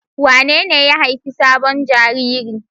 Wanene ya haifi sabon jariri?